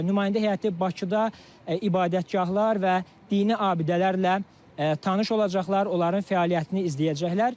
Bunlar nümayəndə heyəti Bakıda ibadətgahlar və dini abidələrlə tanış olacaqlar, onların fəaliyyətini izləyəcəklər.